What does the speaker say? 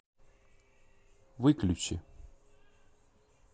выключи